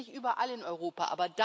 Das gibt es nicht überall in Europa.